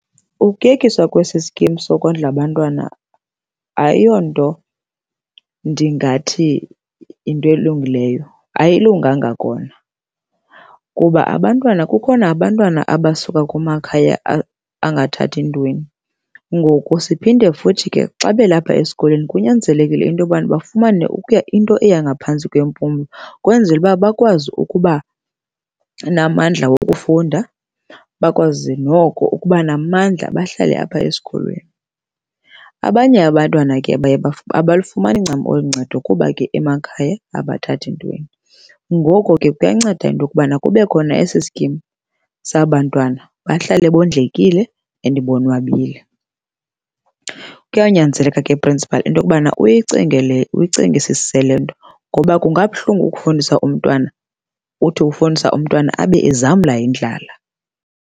Ukuyekiswa kwesi skim sokondla abantwana ayiyonto ndingathi yinto elungileyo. Ayilunganga kona kuba abantwana, kukhona abantwana abasuka kumakhaya angathathi ntweni. Ngoku siphinde futhi ke xa belapha esikolweni kunyanzelekile into yobana bafumane okuya into eya ngaphantsi kwempumlo kwenzele uba bakwazi ukuba namandla wokufunda, bakwazi noko ukuba namandla bahlale apha esikolweni. Abanye abantwana ke baye abalufumani ncam oluncedo kuba ke emakhaya abathathi ntweni, ngoko ke kuyanceda into yokubana kube khona esi skim saba bantwana bahlale bondlekile and bonwabile. Kuyanyanzeleka ke principal into yokubana uyinginge le, uyicingisise le nto ngoba kungabuhlungu ukufundisa umntwana, uthi ufundisa umntwana abe ezamla yindlala.